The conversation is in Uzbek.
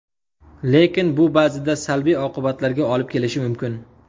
Lekin bu ba’zida salbiy oqibatlarga olib kelishi mumkin.